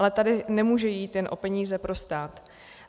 Ale tady nemůže jít jen o peníze pro stát.